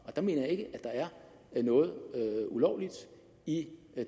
og der mener jeg ikke at der er noget ulovligt i